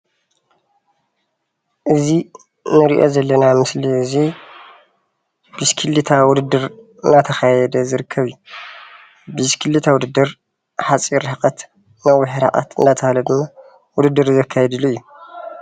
እዚ እንሪኦ ዘለና ምስሊ እዚ ብሽክሌታ ውድድር እናተካየደ ዝርከብ እዩ፡፡ ብሽክሌታ ውድድር ሓፂር ርሕቀት ነዊሕ ርሕቀት እንዳተባሃለ ድማ ውድድር ዘካይድሉ እዩ፡፡